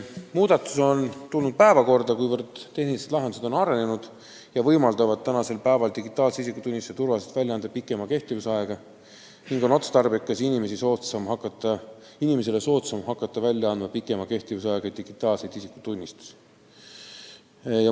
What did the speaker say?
Muudatus on tulnud päevakorda, kuivõrd tehnilised lahendused on arenenud ja võimaldavad turvaliselt välja anda pikema kehtivusajaga digitaalset isikutunnistust, mis on otstarbekas ja inimese jaoks soodsam.